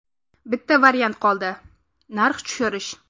Bitta variant qoldi – narx tushirish.